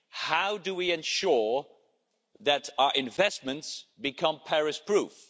How do we ensure that our investments become Paris proof?